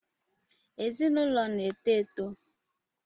Ezinụlọ na-eto eto